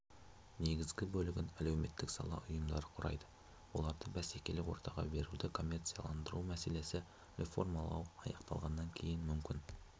негізгі бөлігін әлеуметтік сала ұйымдары құрайды оларды бәсекелі ортаға беруді коммерциаландыру мәселесі реформалау аяқталғаннан кейін мүмкін